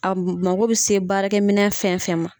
A mago bɛ se baarakɛ minɛ fɛn fɛn ma.